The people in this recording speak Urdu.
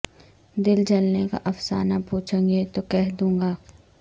دل جلنے کا افسانہ پوچھو گے تو کہہ دوں گا